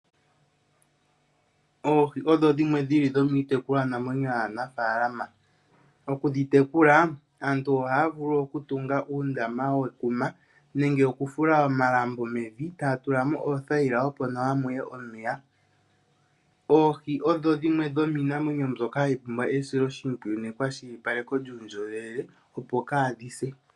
Oohi odhi dhimwe dhili dhilomiitekulwa namwenyo yaanafaalama, okudhi tekula aantu ohaya vulu oku tunga uundama wekuma nenge oku fula omalambo mevi e taya tula mo uuthayila opo nawa muye omeya. Oohi odho dhimwe dhomiinamwenyo mbyoka hayi pumbwa esiloshipwiyu nekwashilipaleko lyuundjoloweleopo kaadhi se.